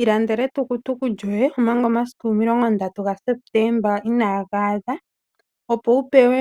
Ilandela etukutuku lyoye omanga omasiku omilongo ndatu gaSeptemba inaaga adha opo wu pewe